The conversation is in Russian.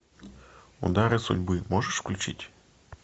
удары судьбы можешь включить